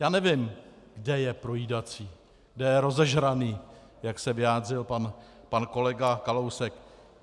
Já nevím, kde je projídací, kde je rozežraný, jak se vyjádřil pan kolega Kalousek.